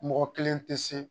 Mɔgɔ kelen tɛ se